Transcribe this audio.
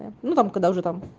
ну ну там когда уже там